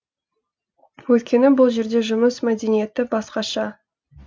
өйткені бұл жерде жұмыс мәдениеті басқаша